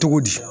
Cogo di